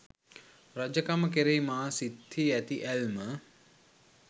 රජකම කෙරෙහි මා සිත්හි ඇති ඇල්ම